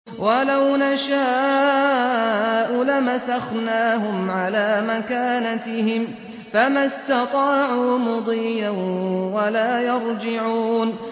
وَلَوْ نَشَاءُ لَمَسَخْنَاهُمْ عَلَىٰ مَكَانَتِهِمْ فَمَا اسْتَطَاعُوا مُضِيًّا وَلَا يَرْجِعُونَ